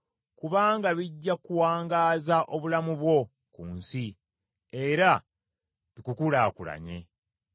kubanga bijja kuwangaaza obulamu bwo ku nsi, era bikukulaakulanye.